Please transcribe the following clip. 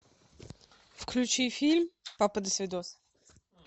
включи фильм папа досвидос